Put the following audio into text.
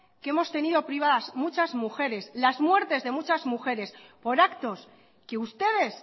que hemos tenido privadas muchas mujeres las muertes de muchas mujeres por actos que ustedes